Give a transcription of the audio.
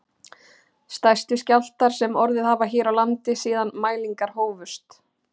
Stærstu skjálftar sem orðið hafa hér á landi síðan mælingar hófust